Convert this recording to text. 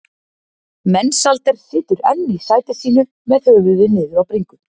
Mensalder situr enn í sæti sínu með höfuðið niður á bringu.